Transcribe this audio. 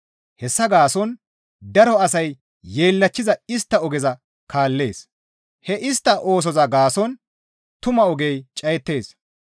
Hessa gaason daro asay yeellachchiza istta ogeza kaallees; he istta oosoza gaason tumaa ogey cayettees.